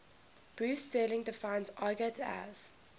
bruce sterling defines argot as